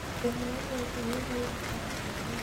Thĩna o wothe nĩ ũrĩ ũrutani waguo.